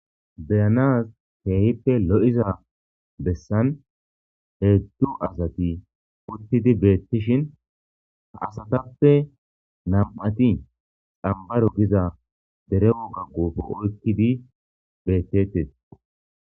beyanaz keehippe lo7iza bessan heedzdzu asati uttidi beettishin ka asatappe nam7ati xambaro giza dere wogaggofo oykkidi beettettes